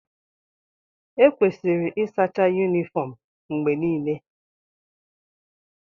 Ekwesịrị ịsacha yunifọọm mgbe niile.